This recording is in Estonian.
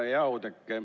Hea Oudekki!